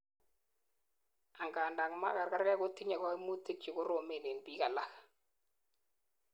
angandan magargarek kotinyei kaimutik chekoromen en biik alak